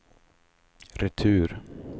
retur